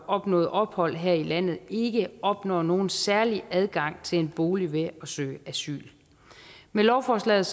opnået ophold her i landet ikke opnår nogen særlig adgang til en bolig ved at søge asyl med lovforslaget